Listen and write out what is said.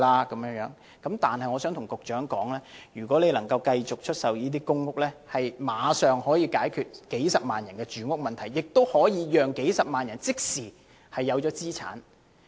我想告訴局長，如果能夠繼續出售公屋，立刻能夠解決數十萬人的住屋問題，也可以讓數十萬人即時擁有資產。